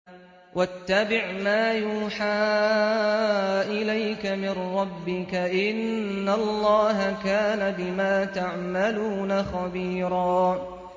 وَاتَّبِعْ مَا يُوحَىٰ إِلَيْكَ مِن رَّبِّكَ ۚ إِنَّ اللَّهَ كَانَ بِمَا تَعْمَلُونَ خَبِيرًا